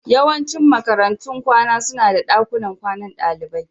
Yawancin makarantun kwana suna da dakunan kwanan dalibai